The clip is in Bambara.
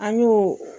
An y'o